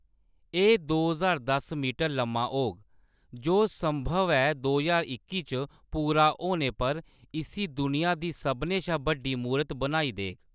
एह्‌‌ दो ज्हार दस मीटर लम्मा होग, जो संभव ऐ दो ज्हार इक्की च पूरा होने पर इस्सी दुनिया दी सभनें शा बड्डी मूरत बनाई देग।